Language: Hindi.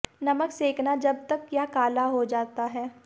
नमक सेंकना जब तक यह काला हो जाता है